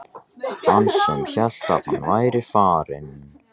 Hann sem hélt að hann væri farinn!